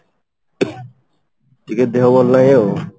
ଟିକେ ଦେହ ଭଲ ନାହିଁ ଆଉ